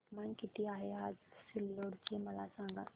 तापमान किती आहे आज सिल्लोड चे मला सांगा